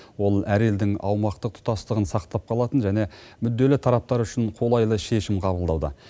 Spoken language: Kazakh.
ол әр елдің аумақтық тұтастығын сақтап қалатын және мүдделі тараптар үшін қолайлы шешім қабылдауда